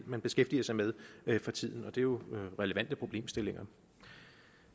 man beskæftiger sig med for tiden det er jo relevante problemstillinger